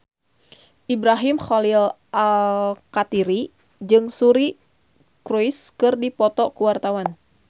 Ibrahim Khalil Alkatiri jeung Suri Cruise keur dipoto ku wartawan